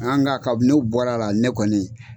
nka kabini o bɔr'a la ne kɔni